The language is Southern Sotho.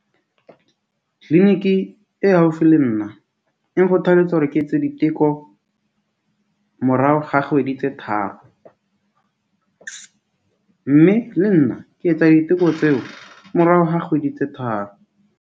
Clinic e haufi le nna e nkgothaletsa hore ke etse diteko morao ga kgwedi tse tharo. Mme le nna ke etsa diteko tseo morao ha kgwedi tse tharo.